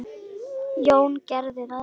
Jón gerði það.